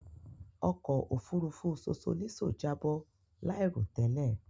Òkò òfúrùfú Sosolíso jàbọ láìrọ̀ tẹ́lẹ̀